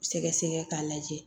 Sɛgɛsɛgɛ k'a lajɛ